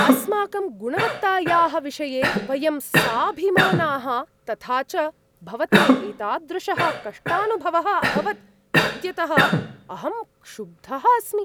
अस्माकं गुणवत्तायाः विषये वयं साभिमानाः, तथा च भवते एतादृशः कष्टानुभवः अभवत् इत्यतः अहं क्षुब्धः अस्मि।